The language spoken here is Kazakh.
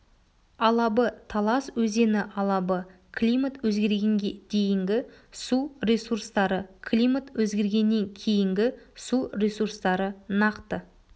алабы талас өзені алабы климат өзгергенге дейінгі су ресурстары климат өзгергеннен кейінгі су ресурстары нақты